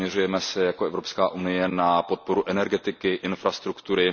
Zaměřujeme se jako Evropská unie na podporu energetiky, infrastruktury.